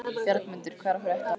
Bjargmundur, hvað er að frétta?